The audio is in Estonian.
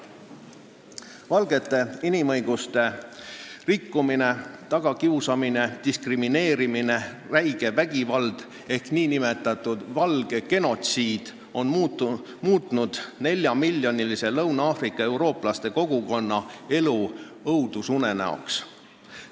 Valgete inimõiguste rikkumine, nende tagakiusamine, diskrimineerimine, räige vägivald ehk nn valge genotsiid on muutnud neljamiljonilise Lõuna-Aafrika Vabariigi eurooplaste kogukonna elu õudusunenäoks.